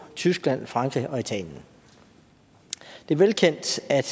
tyskland frankrig og italien det er velkendt at